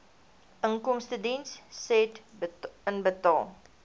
inkomstediens said inbetaal